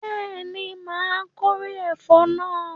Bẹ́ẹ̀ni, my kórè ẹ̀fọ́ náà